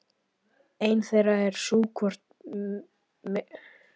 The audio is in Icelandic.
Ein þeirra er sú hvort megintilgangur hjónabands sé barneignir?